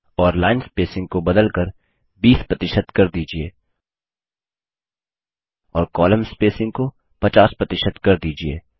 और line spacing को बदल कर 20 प्रतिशत कर दीजिये और कोलम्न स्पेसिंग को 50 प्रतिशत कर दीजिये